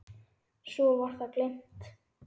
Svo var það gleymt.